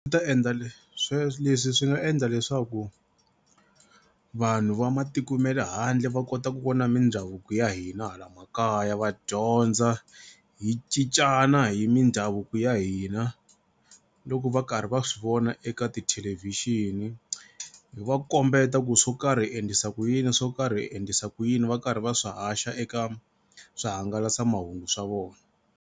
Swi ta endla leswi swi nga endla leswaku vanhu va matiko ma le handle va kota ku vona mindhavuko ya hina hala makaya va dyondza hi cincana hi mindhavuko ya hina. Loko va karhi va swi vona eka ti-television hi va kombeta ku swo karhi hi endlisa ku yini swo karhi hi endlisa ku yini va karhi va swi haxa eka swihangalasamahungu swa vona.